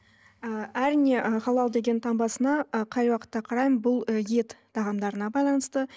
ы әрине ы халал деген таңбасына ы қай уақытта қараймын бұл ы ет тағамдарына байланысты